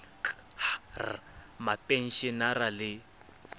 k h r mapenshenara le